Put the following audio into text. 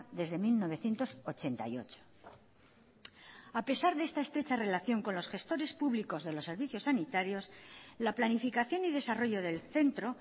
desde mil novecientos ochenta y ocho a pesar de esta estrecha relación con los gestores públicos de los servicios sanitarios la planificación y desarrollo del centro